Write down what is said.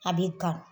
A bɛ gan